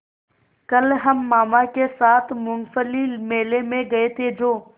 कल हम मामा के साथ मूँगफली मेले में गए थे जो